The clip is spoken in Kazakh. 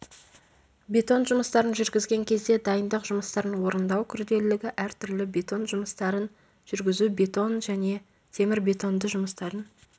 бетон жұмыстарын жүргізген кезде дайындық жұмыстарын орындау күрделілігі әртүрлі бетон жұмыстарын жүргізу бетон және темір-бетонды жұмыстардың